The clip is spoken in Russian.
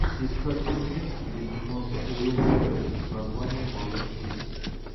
искать фильмец где снимался уилл феррелл с названием малыш кит